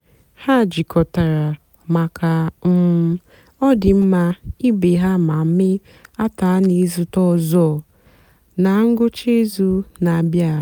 ha jịkọtàra maka um ọdị́mmá ìbè ha mà meé àtụ̀anị̀ ìzùtè ọzọ́ na ngwụ́cha ìzùù na-àbịa.